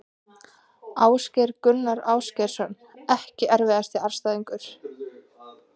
Ásgeir Gunnar Ásgeirsson EKKI erfiðasti andstæðingur?